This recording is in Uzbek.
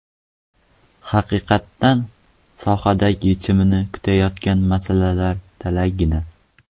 Haqiqatdan sohada yechimini kutayotgan masalalar talaygina.